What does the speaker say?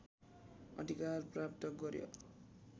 अधिकार प्राप्त गर्‍यो